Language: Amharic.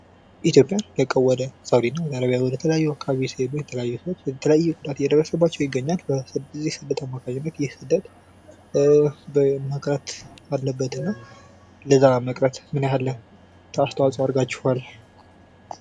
ኢትዮጵያን ለቀው ወደ ሳውዲ ወደ አረብያ ወደ ተለያዩ አካባቢዎች የተለያዩ ሰዎች እየተለያየ ጉዳት እየደረሰባቸው ይገኛል። በስደት አማካኝነት ይህ ስደት መቅረት አለበትና ለዛ መቅረት ምን ያህል አስተዋጽኦ አድርጋችኋል?